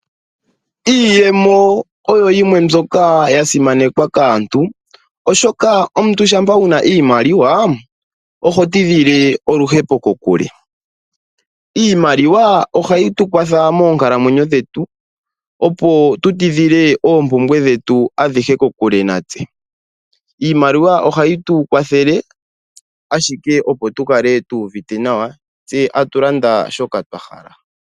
Iiyemo oyo yimwe mbyoka yasimanekwa kaantu ashoka omuntu shampa wuna iimaliwa oho tidhile oluhepo kokule. Iimaliwa ohayi tukwathele monkalamwenyo dhetu opo tu tidhile oompumbwe dhetu adhihe kokule natse . Iimaliwa ohayi tukwathele ashike opo tukale tu uvite nawa tse atulanda shoka twahala.